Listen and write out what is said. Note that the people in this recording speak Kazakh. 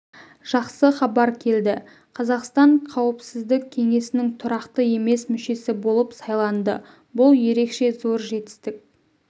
жақсы хабар келді қазақстан қауіпсіздік кеңесінің тұрақты емес мүшесі болып сайланды бұл ерекше зор жетістік